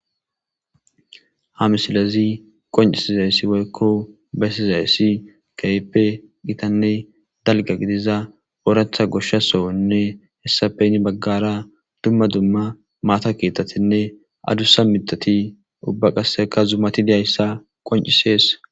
Ha misilazi qoncisizayssi woykko bessizayssi kaype qitanne dalga gidiza ooratha goshsha sohonne hessapeyni baggara dumma dumma maata kiettatinne adussa midati ubba qasseka zumati diyayssa qoncisees.